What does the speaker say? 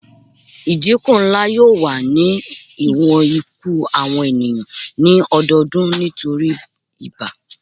Idinku nla yoo wa ni iwọn iku awọn eniyan ni ọdọọdun nitori ibà